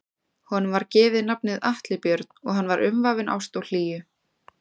Honum var gefið nafnið Atli Björn og hann var umvafinn ást og hlýju.